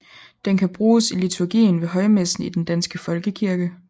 Den kan bruges i liturgien ved højmessen i Den Danske Folkekirke